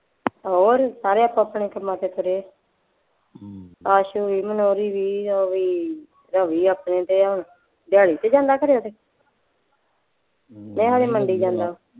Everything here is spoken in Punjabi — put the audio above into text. ਹੋਰ ਸਾਰੇ ਆਪੋ ਆਪਣੇ ਕੰਮਾਂ ਤੇ ਤੁਰੇ ਹੈ, ਆਸ਼ੂ ਵੀ, ਮਨੌਰੀ ਵੀ, ਉਹ ਵੀ ਆਪਣੇ ਤੇ ਹੈ ਦਿਹਾੜੀ ਤੇ ਜਾਂਦਾ ਖਨੇ ਮੈਂ ਕਿਹਾ ਖਨੀ ਮੰਡੀ ਜਾਂਦਾ